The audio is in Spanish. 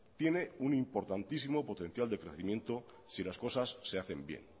tiene un importantísimo potencial de crecimiento si las cosas se hacen bien